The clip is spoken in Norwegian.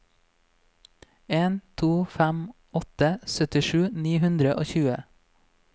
en to fem åtte syttisju ni hundre og tjue